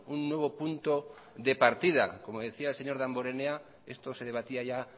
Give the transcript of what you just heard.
un nuevo punto de partida como decía el señor damborenea esto se debatía ya